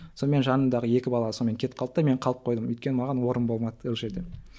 сонымен жанымдағы екі бала сонымен кетіп қалды да мен қалып қойдым өйткені маған орын болмады ол жерде ммм